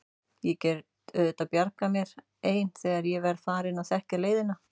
Ég get auðvitað bjargað mér ein þegar ég verð farin að þekkja leiðina.